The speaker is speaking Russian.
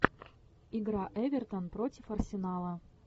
игра эвертон против арсенала